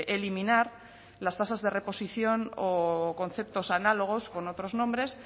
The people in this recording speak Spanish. eliminar las tasas de reposición o conceptos análogos con otros nombres